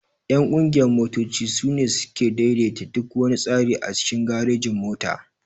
Ƴan ƙungiyan motoci sune suke ɗaiɗaita duk wana tsari a cikin garejin-mota.